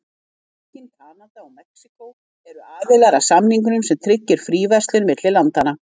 Bandaríkin, Kanada og Mexíkó eru aðilar að samningnum sem tryggir fríverslun milli landanna.